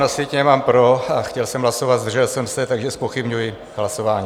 Na sjetině mám "pro" a chtěl jsem hlasovat "zdržel jsem se", takže zpochybňuji hlasování.